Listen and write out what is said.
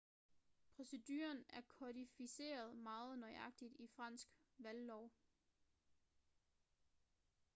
proceduren er kodificeret meget nøjagtigt i fransk valglov